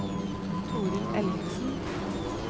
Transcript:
Toril Ellingsen